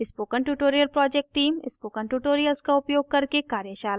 spoken tutorial project team spoken tutorials का उपयोग करके कार्यशालाएं चलाती है